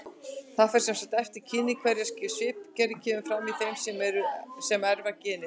Það fer sem sagt eftir kyni hvernig svipgerð kemur fram í þeim sem erfa genið.